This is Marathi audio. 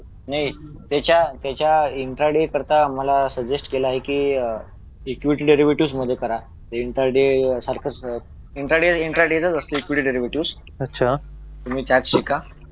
नाही त्याच्या इंट्राडे बद्दल मला सजेस्ट केला आहे की इक्वली ब्यूटूज मध्ये करा इंट्राडे सारखा इंट्राडे इंट्राडे चा असतो इक्वली ब्यूटूज तुम्ही त्यात शिका